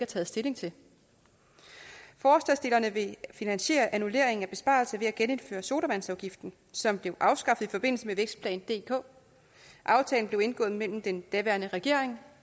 taget stilling til forslagsstillerne vil finansiere annulleringen af besparelser ved at genindføre sodavandsafgiften som blev afskaffet i forbindelse med vækstplan dk aftalen blev indgået mellem den daværende regering